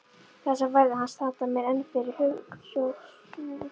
Þessar ferðir hans standa mér enn fyrir hugskotssjónum.